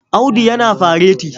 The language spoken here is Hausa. Audu yana fareti.